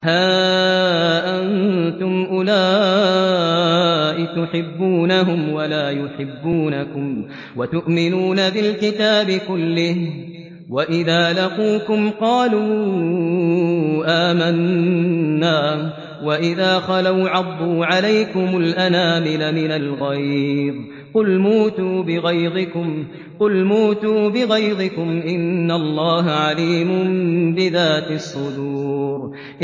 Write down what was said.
هَا أَنتُمْ أُولَاءِ تُحِبُّونَهُمْ وَلَا يُحِبُّونَكُمْ وَتُؤْمِنُونَ بِالْكِتَابِ كُلِّهِ وَإِذَا لَقُوكُمْ قَالُوا آمَنَّا وَإِذَا خَلَوْا عَضُّوا عَلَيْكُمُ الْأَنَامِلَ مِنَ الْغَيْظِ ۚ قُلْ مُوتُوا بِغَيْظِكُمْ ۗ إِنَّ اللَّهَ عَلِيمٌ بِذَاتِ الصُّدُورِ